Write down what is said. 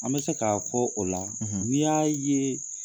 An bɛ se k'a fɔ o la ni y'a ye